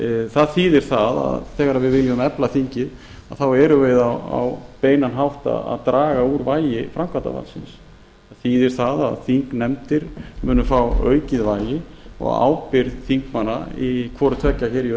það þýðir það að þegar við viljum efla þingið erum við á beinan hátt að draga úr vægi framkvæmdarvaldsins það þýðir það að þingnefndir munu fá aukið vægi og ábyrgð þingmanna í hvorutveggja hér í